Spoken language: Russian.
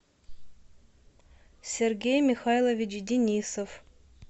сергей михайлович денисов